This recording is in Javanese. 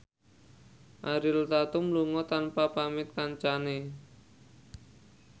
Ariel Tatum lunga tanpa pamit kancane